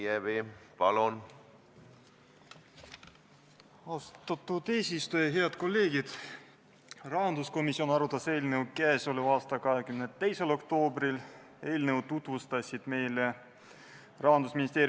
Ma arvan, et see tuleb murda just nüüd ja praegu, seda ei saa järjekordselt tulevikku lükata, kas või rääkides, et meile on need muudatused hästi olulised ja lähevad palju maksma.